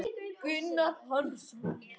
Gunnar Hansson